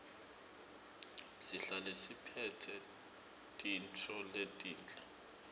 sihlale siphetse tintfo letinhle